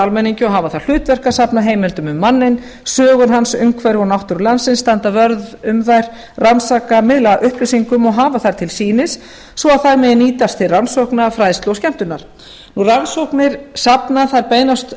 almenningi og hafa það hlutverk að safna heimildum um manninn sögur hans umhverfi og náttúru landsins standa vörð um þær rannsaka miðla upplýsingum og hafa þær til sýnis svo þær megi nýtast til rannsókna fræðslu og skemmtunar rannsóknir safna beinast